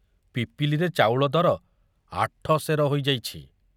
ପିପିଲିରେ ଚାଉଳ ଦର ଆଠସେର ହୋଇଯାଇଛି।